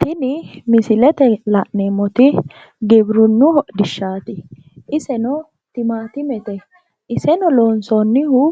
tini misilete la'neemmoti giwirinnu hodhishshaati iseno timmatimete iseno loonsoonnihu